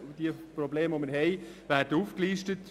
die Probleme, die wir haben, werden aufgelistet.